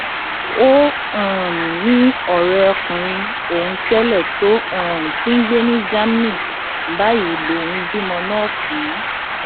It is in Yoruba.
ó um ní ọrẹkùnrin òun tẹlẹ tó um ti ń gbé ní germany báyìí lòun bímọ náà fún un